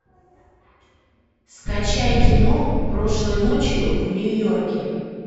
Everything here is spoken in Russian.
скачай кино прошлой ночью в нью йорке